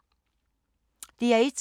DR1